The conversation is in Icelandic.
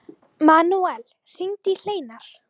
Manuel, hringdu í Hleinar.